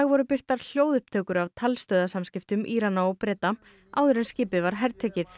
voru birtar hljóðupptökur af Írana og Breta áður en skipið var hertekið